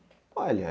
Olha,